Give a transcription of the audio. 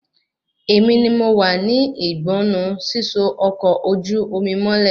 Èmi ni mo wá ní ìgbánnu síso ọkọ ojú omi mọ́lẹ̀